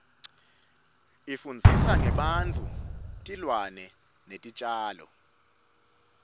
ifundzisa ngebantfu tilwane netitjalo